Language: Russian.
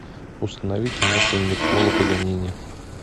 установи киноху никколо паганини